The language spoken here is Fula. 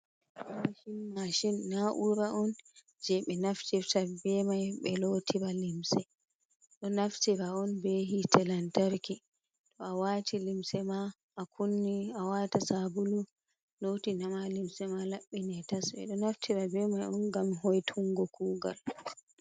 Woshin mashin na ura on je ɓe naftifta be mai ɓe lotira limse, ɗo naftira on be hite lantarki to awati limse ma a kunni awata sabulu loti nama limse ma laɓɓine tas, ɓeɗo naftira be mai on gam hoy tungo kugal.